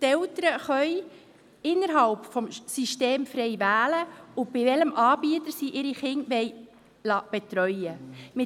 Die Eltern können frei wählen, nach welchem System und bei welchem Anbieter sie ihre Kinder betreuen lassen wollen.